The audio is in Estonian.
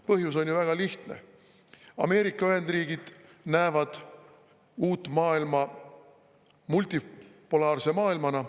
Põhjus on ju väga lihtne: Ameerika Ühendriigid näevad uut maailma multipolaarse maailmana.